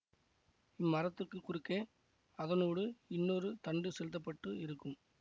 இம் மரத்துக்குக் குறுக்கே அதனூடு இன்னொரு தண்டு செலுத்த பட்டு இருக்கும்